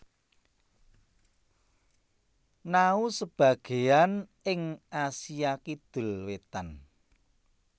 Nhau Sebagéyan ing Asia Kidul wétan